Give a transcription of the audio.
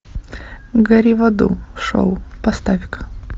гори в аду шоу поставь ка